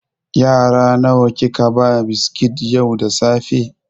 Yara nawa kika ba biskit yau da safe?